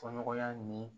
Fɔɲɔgɔnya ni